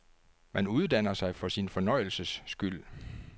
Man uddanner sig for sin fornøjelses skyld.